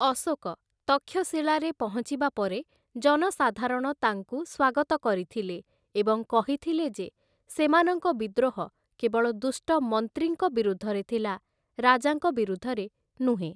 ଅଶୋକ ତକ୍ଷଶୀଳାରେ ପହଞ୍ଚିବା ପରେ ଜନସାଧାରଣ ତାଙ୍କୁ ସ୍ୱାଗତ କରିଥିଲେ ଏବଂ କହିଥିଲେ ଯେ ସେମାନଙ୍କ ବିଦ୍ରୋହ କେବଳ ଦୁଷ୍ଟ ମନ୍ତ୍ରୀଙ୍କ ବିରୁଦ୍ଧରେ ଥିଲା, ରାଜାଙ୍କ ବିରୁଦ୍ଧରେ ନୁହେଁ ।